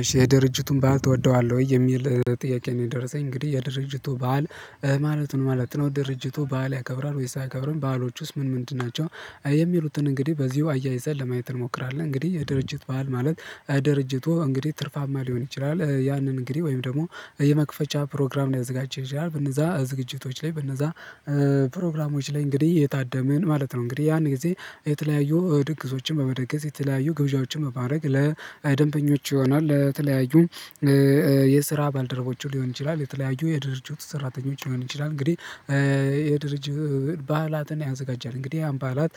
እሺ የድርጅቱን በዓል ትወደዋለህ ወይ የሚል ጥያቄ ነው? የደረሰኝ እንግዲህ የድርጅቱ በዓል ማለት ነው ማለት ነው ድርጅቱ በዓል ያከብራል። ወይስ አይከብርም በዓሎቹስ ውስጥ ምን ምንድን ናቸው? የሚሉትን እንግዲህ በዚሁ አያይዘን ለማየት እንሞክራለን። እንግዲህ የድርጅት በዓል ማለት ድርጅቱ እንግዲህ ትርፋማ ሊሆን ይችላል። ያንን እንግዲህ ወይም ደግሞ የመክፈቻ ፕሮግራም ሊያዘጋጅ ይችላል። በነዛ ዝግጅቶች ላይ በነዛ ፕሮግራሞች ላይ እንግዲህ የታደመን ማለት ነው። እንግዲህ ያን ጊዜ የተለያዩ ድግሶችን በመደገስ የተለያዩ ግብዣዎችን በማረግ ለደንበኞች ይሆናል። ለተለያዩ የስራ ባልደረቦቹ ሊሆን ይችላል የተለያዩ የድርጅቱ ሰራተኞች ሊሆን ይችላል። እንግዲህ የድርጅት ባህላትን ያዘጋጃል እንግዲህ አሁን ባህላት